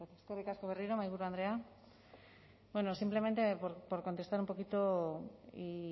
eskerrik asko berriro mahaiburu andrea simplemente por contestar un poquito y